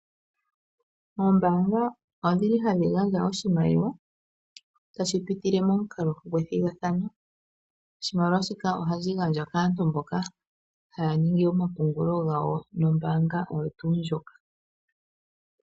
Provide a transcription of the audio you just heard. Ombaanga odhili hadhi gandja oshimaliwa tashi pitile momukalo gwethigathano. Oshimaliwa shika ohashi gandjwa kaantu mboka haa ningi omapungulo gawo nombaanga oyo tuu ndjoka.